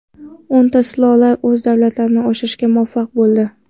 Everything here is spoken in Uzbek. O‘nta sulola o‘z davlatini oshirishga muvaffaq bo‘ldi.